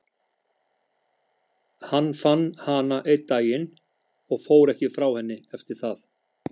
Hann fann hana einn daginn og fór ekki frá henni eftir það.